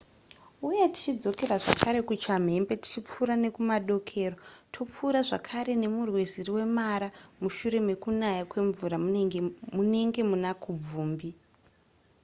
uye tichidzokera zvakare kuchamhembe tichipfuura nekumadokero topfuura zvakare nemurwizi rwemara mushure mekunaya kwemvura munenge muna kubvumbi